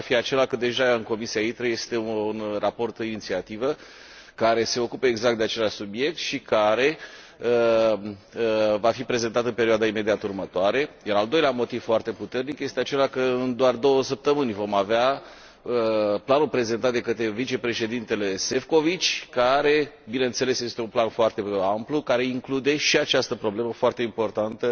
Primul ar fi acela că deja în Comisia ITRE este un raport de inițiativă care se ocupă exact de același subiect și care va fi prezentat în perioada imediat următoare, iar al doilea motiv foarte puternic este acela că în doar două săptămâni vom avea planul prezentat de către vicepreședintele Šefčovič, care, bineînțeles, este un plan foarte amplu care include și această problemă foarte importantă